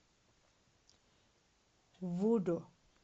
вуду